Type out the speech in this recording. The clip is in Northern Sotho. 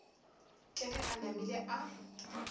ke ge e namile a